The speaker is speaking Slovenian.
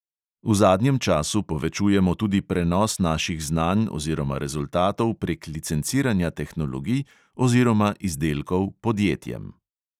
V zadnjem času povečujemo tudi prenos naših znanj oziroma rezultatov prek licenciranja tehnologij oziroma izdelkov podjetjem.